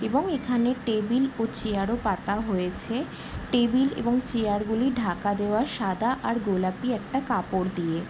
এবং এখানে টেবিল ও চেয়ার ও পাতা হয়েছে টেবিল এবং চেয়ার গুলি ঢাকা দেওয়া সাদা আর গোলাপি একটা কাপড় দিয়ে ।